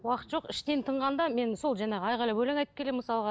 уақыт жоқ іштен тынғанда мен сол жаңағы айқайлап өлең айтып келемін мысалға